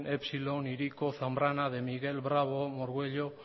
epsilon hiriko zambrana de miguel bravo orgüello